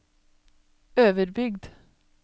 Øverbygd